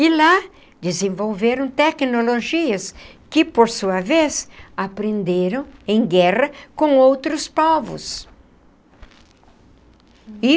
E lá desenvolveram tecnologias que, por sua vez, aprenderam em guerra com outros povos e.